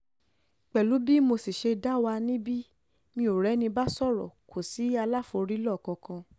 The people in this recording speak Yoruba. pẹ̀lú bí mo sì ṣe dá wà níbi mi ò rẹ́ni bá sọ̀rọ̀ kò sí aláfòrílò kankan